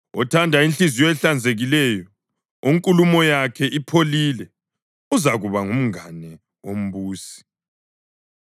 Othanda inhliziyo ehlanzekileyo, onkulumo yakhe ipholile uzakuba ngumngane wombusi.